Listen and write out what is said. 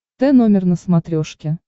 т номер на смотрешке